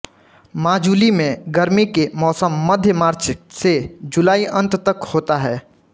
माजुली में गर्मी के मौसम मध्य मार्च से जुलाई अंत तक होता है